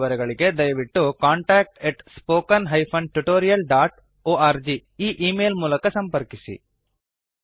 ಹೆಚ್ಚಿನ ವಿವರಗಳಿಗೆ ದಯವಿಟ್ಟು contactspoken tutorialorg ಈ ಈ ಮೇಲ್ ಮೂಲಕ ಸಂಪರ್ಕಿಸಿ